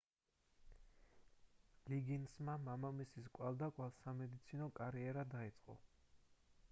ლიგინსმა მამამისის კვალდაკვალ სამედიცინო კარიერა დაიწყო